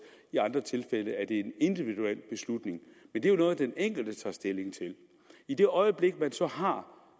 i andre tilfælde er det en individuel beslutning men det er jo noget den enkelte tager stilling til i det øjeblik man så har